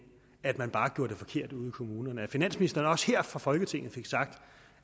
at man jo bare gjorde det forkert ude i kommunerne altså at finansministeren også her fra folketinget fik sagt